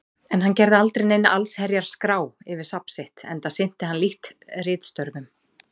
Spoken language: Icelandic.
En hann gerði aldrei neina allsherjar-skrá yfir safn sitt, enda sinnti hann lítt ritstörfum.